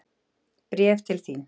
Bréf til þín.